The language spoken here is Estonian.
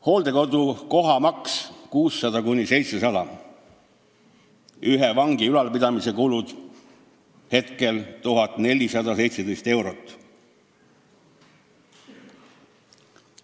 Hooldekodu kohamaks on 600–700 eurot, ühe vangi ülalpidamise kulud on 1417 eurot.